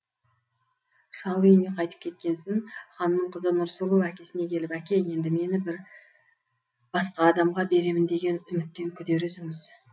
шал үйіне қайтып кеткенсін ханның қызы нұрсұлу әкесіне келіп әке енді мені бір басқа адамға беремін деген үміттен күдер үзіңіз